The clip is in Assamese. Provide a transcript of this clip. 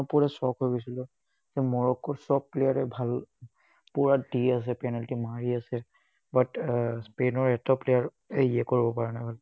মই পুৰা shocked হৈ গৈছিলো। মৰক্কোৰ চব player এ ভাল, পুৰা দি আছে penalty, মাৰি আছে but আহ স্পেইনৰ এটাও player এ ইয়ে কৰিব পৰা নাই।